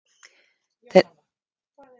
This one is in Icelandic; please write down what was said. Þeir sem gátu leyst fjórar þrautir fengu verðlaun.